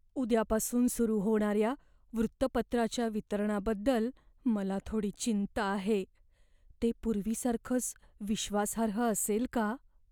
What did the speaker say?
उद्यापासून सुरू होणाऱ्या वृत्तपत्राच्या वितरणाबद्दल मला थोडी चिंता आहे. ते पूर्वीसारखंच विश्वासार्ह असेल का?